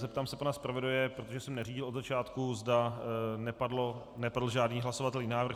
Zeptám se pana zpravodaje, protože jsem neřídil od začátku, zda nepadl žádný hlasovatelný návrh.